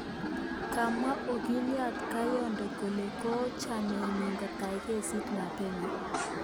Komwa ogiliot Kayonde kole kochameenyi kotai kesiit mapema